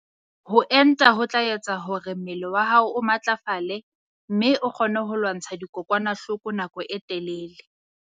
Ho enta ho tla etsa hore mmele wa hao o matlafale mme o kgone ho lwantsha dikokwanahloko nako e telele.